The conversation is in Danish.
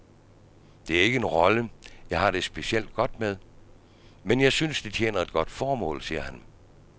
Det er ikke en rolle, jeg har det specielt godt med, men jeg synes det tjener et godt formål, siger han.